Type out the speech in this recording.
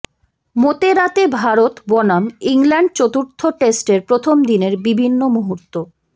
মোতেরাতে ভারত বনাম ইংল্যান্ড চতুর্থ টেস্টের প্রথম দিনের বিভিন্ন মুহূর্ত